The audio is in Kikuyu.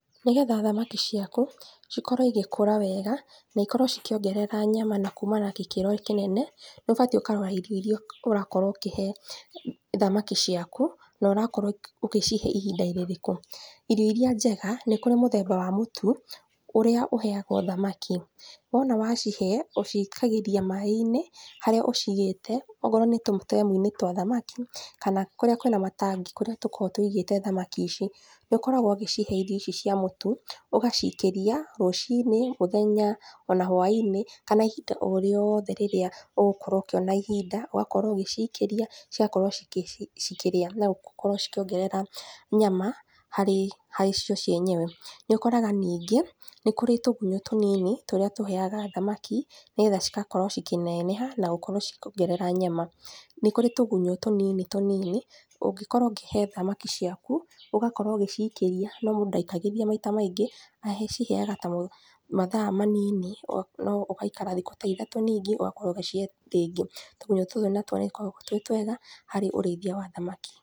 Nĩgetha thamaki ciaku, cikorwo cigĩkũra wega, naikorwo cikĩongerera nyama na kuma na gĩkĩro kĩnene, nĩũbatiĩ ũkarora irio iria ũrakorwo ũkĩhe thamaki ciaku, norakorwo ũ ũkĩcihe ihinda rĩrĩkũ, irio iria njega, nĩkũrĩ mũthemba wa mũtu, ũrĩa ũheagwo thamaki, wona wacihe, ũcikagĩria maĩ-inĩ, harĩa ũcigĩte, okorwo nĩtũ tũnyamũ-inĩ twa thamaki, kana kũrĩa kwĩna matangi, kũrĩa tũkoragwo tũigĩte thamaki ici, nĩũkoragwo ũgĩcihe irio ici cia mũtu, ũgacikĩria, rũci-inĩ, mũthenya, ona hwa-inĩ kana ihinda o rĩothe rĩrĩa ũgũkorwo ũkĩona ihinda, ũgakorwo ũgĩcikĩria, cigakorwo cikĩ cikĩrĩa nogakora cikĩongerera nyama, harĩ harĩ cio cienyewe, nĩũkoraga ningĩ, nĩkũrĩ tũgunyũ tũnini, tũrĩa tũheaga thamaki, nĩgetha cigakorwo cikĩneneha na gũkorwo cikĩongerera nyama, nĩkũrí tũgunyũ tũnini tũnini, ũngĩkorwo ũngihee thamaki ciaku, ũgakorwo ũgĩcikíria, no mũndũ ndaikagĩria maita maingĩ, agĩciheaga ta mathaa manini o no ũgaikara thikũ ta ithatũ ningĩ ũgakorwo ũgĩcihe rĩngĩ, tũgunyũ tũtũ nĩtũgĩkoragwo twĩ twega harĩ ũrĩithia wa thamaki.